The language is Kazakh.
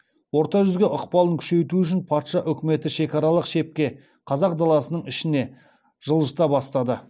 орта жүзге ықпалын күшейту үшін патша өкіметі шекаралық шепті қазақ даласының ішіне жылжыта бастады